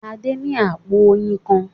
Adé ní àpò oyin kan.